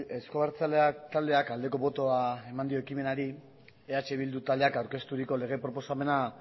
euzko abertzaleak taldeak aldeko botoa eman dio ekimenari eh bildu taldeak aurkezturiko lege proposamena